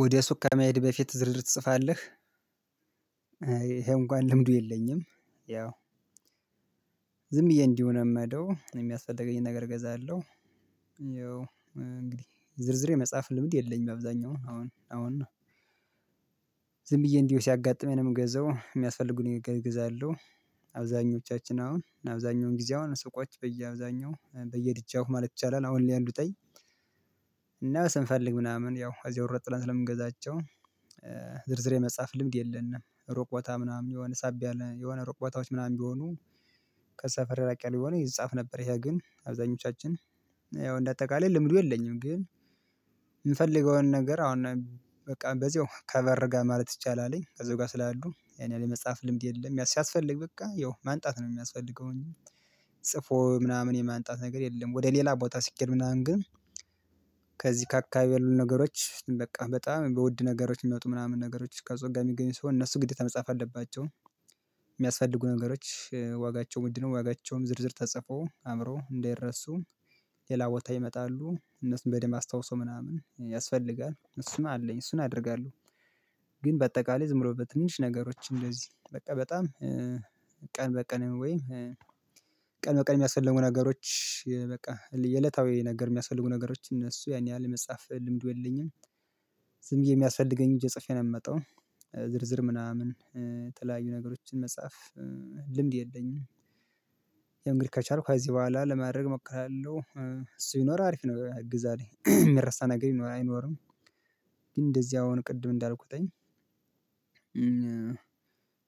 ወደ ሱቅ ከመሄድህ በፊት ዝርዝር ትጽፋለህ? ይሄ እንኳን ልምዱ የለኝም። ያው ዝም ብዬ እንዲሁ ነው የምሄደው የሚያስፈልገኝን ነገር እገዛለሁ። ያው እንግዲህ ዝርዝሬ መጽሐፍ ልምድ የለኝም አብዛኛው አሁን አሁን ነው ዝም ብዬ እንዲሁ ሲያጋጥመኝ ነው የምገዛው የሚያስፈልጉኝ እገዛለሁ። አብዛኞቻችን አሁን አብዛኛውን ጊዜ አሁን ስቆች በየአብዛኛው በየድጃው ማለት ይቻላል አሁን ሊያንዱ ጠይ። እና ስንፈልግ ምናምን ያው አዚያ ሮጥ ብለን ስለምንገዛቸው ዝርዝር የመጻፍ ልምድ የለንም። ሩቅ ቦታ ምናምን የሆነ ሳብ ያለ የሆነ ሮቅ ቦታዎች ምናምን ቢሆኑ። ከሰፈር ራቅ የሆነ ይጻፍ ነበር ይሄ ግን አብዛኞቻችን ያው እንደ አጠቃላይ ልምዱ የለኝም። ግን የምፈልገውን ነገር አሁን በቃ በዚሁ ከበር ጋር ማለት ይቻላል አለኝ ከዚህ ጋር ስላሉ ያኔ መጽሐፍ ልምድ የለም ሲያስፈልግ በቃ ያው ማምጣት ነው የሚያስፈልገውኝ። ጽፎ ምናምን የማንጣት ነገር የለም ወደ ሌላ ቦታ ስኬድ ምናምን ግን። ከዚህ ከአካባቢ ያሉ ነገሮች በቃ በጣም በውድ ነገሮች የሚመጡ ምናምን ነገሮች ከጸጋ የሚገኙ ሰው እነሱ ግዴታ መጻፍ አለባቸው። የሚያስፈልጉ ነገሮች ዋጋቸውን ውድ ነው ዋጋቸውን ዝርዝር ተጽፎ አእምሮ እንዳይረሱ ሌላ ቦታ ይመጣሉ እነሱን በደንብ አስታውሶ ምናምን ያስፈልጋል እሱን አለኝ እሱን አደርጋለሁ። ግን በአጠቃላይ ዝም ብሎ በትንሽ ነገሮች እንደዚህ በቃ በጣም ቀን በቀን ወይም ቀን በቀን የሚያስፈልጉ ነገሮች በቃ የዕለታዊ ነገር የሚያስፈልጉ ነገሮች እነሱ ያን ያህል የመጽሐፍ ልምዱ የለኝም። ዝም ብዬ የሚያስፈልገኝ እጄ ጽፌ ነው የምመጣው። ዝርዝር ምናምን የተለያዩ ነገሮችን መጽሐፍ ልምድ የለኝም። ያው እንግዲህ ከቻልኩ ከዚህ በኋላ ለማድረግ እሞክራለሁ። እሱ ይኖር አሪፍ ይኖር ግዛሬ የሚረሳ ነገር ይኖራል አይኖርም። ግን እንደዚህ አሁን ቅድም እንዳልኩት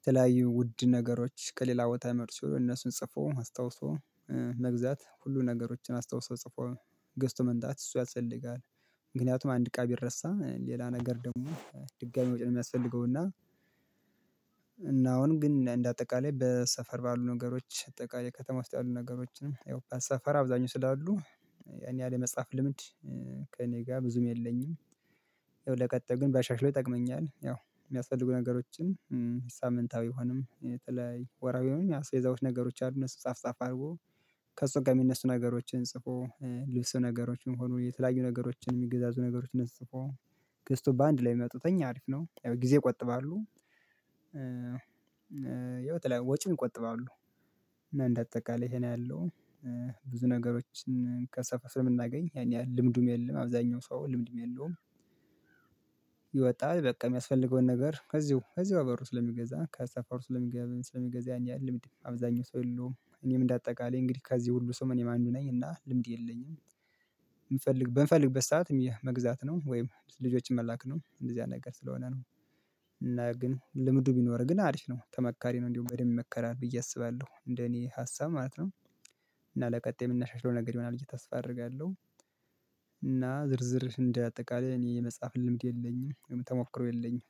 ተለያዩ ውድ ነገሮች ከሌላ ቦታ መርሶ እነሱን ጽፎ አስታውሶ መግዛት ሁሉ ነገሮችን አስታውሰው ጽፎ ገዝቶ መምጣት እሱ ያስፈልጋል። ምክንያቱም አንድ እቃ ቢረሳ ሌላ ነገር ደግሞ ድጋሚ መውጣት ነው የሚያስፈልገው እና። እና አሁን ግን እንደ አጠቃላይ በሰፈር ባሉ ነገሮች አጠቃላይ ከተማ ውስጥ ያሉ ነገሮችንም ያው በሰፈር አብዛኛው ስላሉ ያኔ ያለ መጽሐፍ ልምድ ከእኔ ጋር ብዙም የለኝም። ይኸው ለቀጣዩ ግን ባሻሽለው ይጠቅመኛል። ያው የሚያስፈልጉ ነገሮችን ሳምንታዊ ይሆንም የተለያየ ወርሃዊ ነው አስቤዛዎች ነገሮች አሉ እነሱ ጻፍ ጻፍ አድርጎ ከእሱ ጋር የሚነሱ ነገሮችን ጽፎ ልብሱ ነገሮችን ሆኖ የተለያዩ ነገሮችን የሚገዛዙ ነገሮችን ጽፎ ገዝቶ በአንድ ላይ የሚመጡት እኛ አሪፍ ነው ጊዜ ይቆጥባሉ። ወጪውን ይቆጥባሉ። እና እንደ አጠቃላይ ይሄ ነው ያለው ብዙ ነገሮችን ከሰፈር ስለምናገኝ ያኔ ልምዱም የለውም አብዛኛው ሰው ልምዱም የለውም። ይወጣል በቃ የሚያስፈልገውን ነገር ከዚሁ ከዚያው በሩ ስለሚገዛ ከሰፈር ውስጥ ስለሚገባ ስለሚገዛ ያን ያህል ልምድ አብዛኛው ሰው የለውም እኔም እንደ አጠቃላይ እንግዲህ ከዚህ ሁሉ ሰው እኔም አንዱ ነኝ እና ልምድ የለኝም። የምፈልግ በምፈልግበት ሰዓትም ይህ መግዛት ነው ወይም ልጆችን መላክ ነው እንደዚህ አይነት ነገር ስለሆነ ነው። እና ግን ልምዱ ቢኖር ግን አሪፍ ነው ተመካሪ ነው እንዲሁ በደንብ ይመከራል ብዬ አስባለሁ እንደኔ ሀሳብ ማለት ነው። እና ለቀጣይ የምናሻሽለው ነገር ይሆናል ብየ ተስፋ አደርጋለሁ። እና ዝርዝር እንደ አጠቃላይ እኔ የመጽሐፍ ልምድ የለኝም ተሞክረው የለኝም